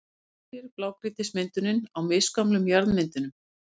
hvílir blágrýtismyndunin á misgömlum jarðmyndunum.